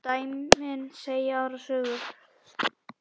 Dæmin segja aðra sögu.